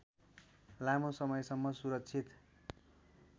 लामो समयसम्म सुरक्षित